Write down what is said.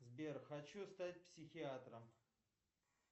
сбер хочу стать психиатром